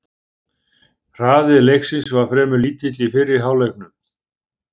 Hraði leiksins var fremur lítill í fyrri hálfleiknum.